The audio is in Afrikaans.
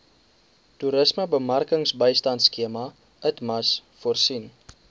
toerismebemarkingbystandskema itmas voorsien